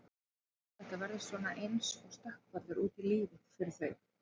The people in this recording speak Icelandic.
Þetta verður svona eins og stökkpallur út í lífið fyrir þau.